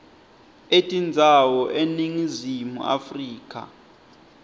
etindzawo eningizimu afrika